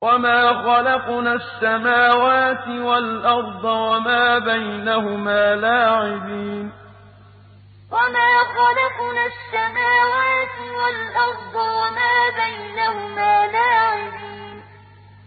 وَمَا خَلَقْنَا السَّمَاوَاتِ وَالْأَرْضَ وَمَا بَيْنَهُمَا لَاعِبِينَ وَمَا خَلَقْنَا السَّمَاوَاتِ وَالْأَرْضَ وَمَا بَيْنَهُمَا لَاعِبِينَ